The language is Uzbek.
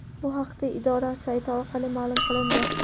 Bu haqda idora sayti orqali ma’lum qilindi .